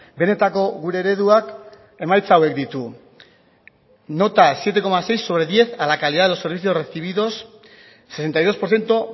benetako gure ereduak emaitza hauek ditu nota siete coma seis sobre diez a la calidad de los servicios recibidos sesenta y dos por ciento